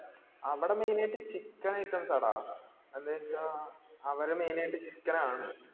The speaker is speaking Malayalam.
അവിടെ main ആയിട്ട് chicken items ആട അവരെ main ആയിട്ട് chicken ആണ്